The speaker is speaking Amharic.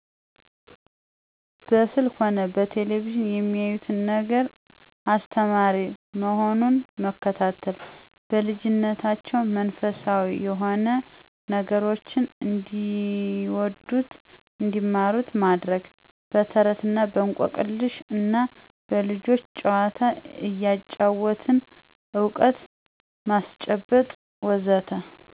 በስልክ ሆነ በቴሌቪዥን የሚያዩት ነገር አስተማሪ መሆኑን መከታተል። በልጂነታቸው መንፈሳዊ የሆኑ ነገሮችን እንዲወዱት እንዲማሩት ማድረግ። በተረት እና በእንቆቅልሽ እና በልጆች ጨዋታ እያጫወትን እውቀት ማስጨበጥ.. ወዘተ